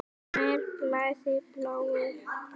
Mér blæðir bláu.